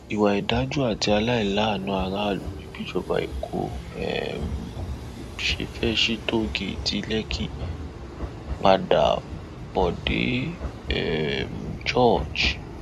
ìwà ọdájú àti àìláàánú aráàlú ni bíjọba eko um ṣe fẹẹ sí tòògẹẹtì lèkì padàbòde um george